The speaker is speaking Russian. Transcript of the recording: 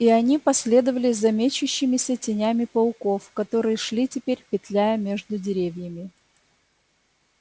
и они последовали за мечущимися тенями пауков которые шли теперь петляя между деревьями